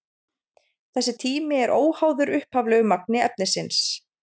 Þessi tími er óháður upphaflegu magni efnisins.